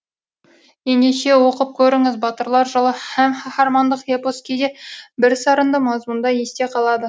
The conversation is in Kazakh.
ендеше оқып көріңіз батырлар жыры һәм қаһармандық эпос кейде бірсарынды мазмұнда есте қалады